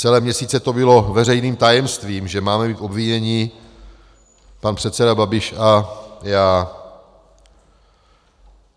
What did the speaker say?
Celé měsíce to bylo veřejným tajemstvím, že máme být obviněni, pan předseda Babiš a já.